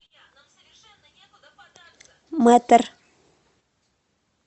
мэтр